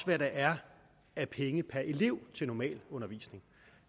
hvad der er af penge per elev til normalundervisning